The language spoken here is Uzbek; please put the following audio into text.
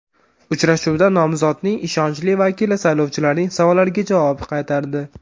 Uchrashuvda nomzodning ishonchli vakili saylovchilarning savollariga javob qaytardi.